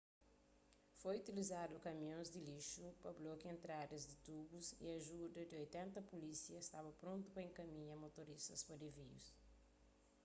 foi utilizadu kamions di lixu pa blokia entradas di tubus y ajuda di 80 pulísia staba prontu pa enkaminha motorista pa disvius